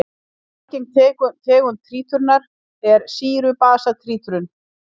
Algeng tegund títrunar er sýru-basa títrun.